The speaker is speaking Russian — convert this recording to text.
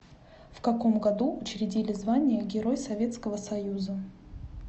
в каком году учредили звание герой советского союза